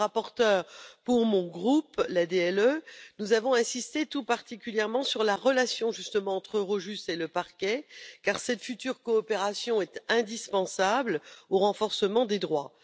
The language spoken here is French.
En tant que rapporteure pour mon groupe, l'ADLE, nous avons insisté tout particulièrement sur la relation, justement, entre Eurojust et le Parquet, car cette future coopération est indispensable au renforcement des droits.